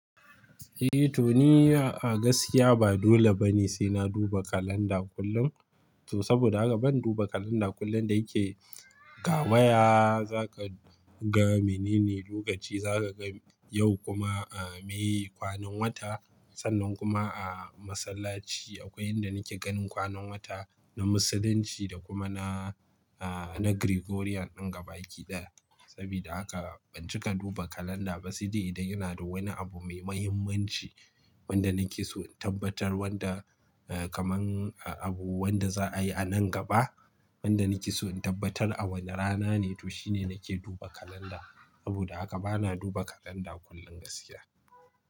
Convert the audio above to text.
Eh, to ni a, a gaskiya ba dole bane sai na duba kalanda kullum. To saboda haka ban duba kalanda kullum da yake ga waya za ka ga menene lokaci za ka ga yau kuma, ah, meye kwanan wata. Sannan kuma a masallaci akwai inda nake ganin kwanan wata na Musulunci da kuma na, ah, na Gregorian ɗin gabaki ɗaya. Sabida haka ban cika duba kalanda ba sai dai idan ina da wani abu mai muhimmanci wanda nake so in tabbatar wanda, ah, kamar abu wanda za a yi a nan gaba. Wanda nake so in tabbatar a wane rana ne to shine nake duba kalanda. Saboda haka bana duba kalanda kullum gaskiya.